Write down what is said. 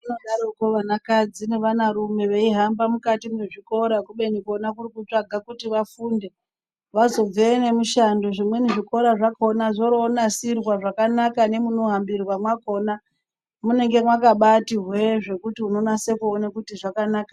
Vanodaroko vanakadzi nevanarume veihamba mukati mwezvikora kubeni Kona kurikutsvake kuti vafunde vazobveyo nemishando zvimweni zvikora zvakona zvoronasirwa zvakanaka nemunohambirwa makona munenge makabati hweee zvekuti unonase kuona kuti zvakanaka.